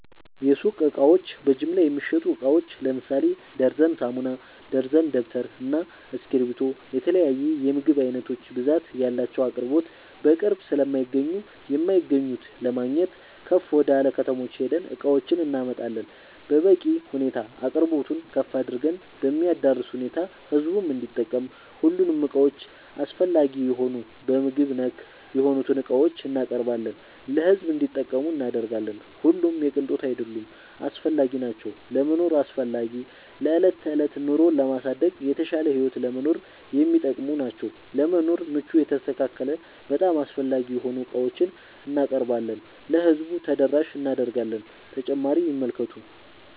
የሱቅ እቃዎች በጅምላ የሚሸጡ እቃዎች ለምሳሌ ደርዘን ሳሙና፣ ደርዘን ደብተር እና እስኪብርቶ የተለያዬ የምግብ አይነቶች ብዛት ያላቸው አቅርቦት በቅርብ ስለማይገኙ የማይገኙት ለማግኘት ከፍ ወደላ ከተሞች ሄደን እቃዎችን እናመጣለን በበቂ ሁኔታ አቅርቦቱን ከፍ አድርገን በሚያዳርስ ሁኔታ ህዝቡም እንዲጠቀም ሁሉንም እቃዎች አስፈላጊ የሆኑ በምግብ ነክ የሆኑትን እቃዎችን እናቀርባለን ለሕዝብ እንዲጠቀሙ እናደርጋለን። ሁሉም የቅንጦት አይደሉም አስፈላጊናቸው ለመኖር አስፈላጊ ለዕለት ተዕለት ኑሮን ለማሳደግ የተሻለ ህይወት ለመኖር የሚጠቅሙ ናቸው። ለመኖር ምቹ የተስተካከለ በጣም አስፈላጊ የሆኑ ዕቃዎችን እናቀርባለን ለህዝቡ ተደራሽ እናደርጋለን።…ተጨማሪ ይመልከቱ